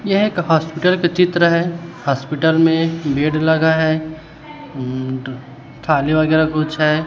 यह एक हॉस्पिटल का चित्र है हॉस्पिटल में बेड लगा हैं अं थाली वगैरा कुछ है।